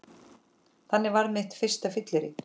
Þannig varð mitt fyrsta fyllerí